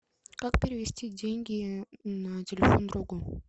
как перевести деньги на телефон другу